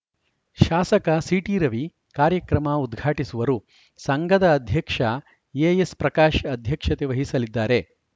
ಶಾಸಕ ಸಿಟಿರವಿ ಕಾರ್ಯಕ್ರಮ ಉದ್ಘಾಟಿಸುವರು ಸಂಘದ ಅಧ್ಯಕ್ಷ ಎಎಸ್‌ಪ್ರಕಾಶ್‌ ಅಧ್ಯಕ್ಷತೆ ವಹಿಸಲಿದ್ದಾರೆ